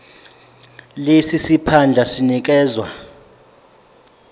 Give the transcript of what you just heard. lesi siphandla sinikezwa